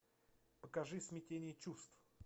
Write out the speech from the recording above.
покажи смятение чувств